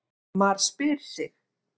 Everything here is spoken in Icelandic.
MAR SPYR SIG!